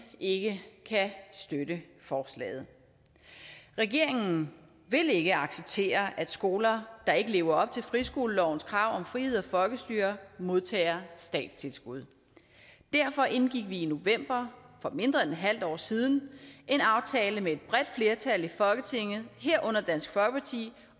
ikke kan støtte forslaget regeringen vil ikke acceptere at skoler der ikke lever op til friskolelovens krav om frihed og folkestyre modtager statstilskud derfor indgik vi i november for mindre end et halvt år siden en aftale med et bredt flertal i folketinget herunder dansk folkeparti